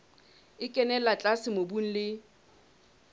e kenella tlase mobung le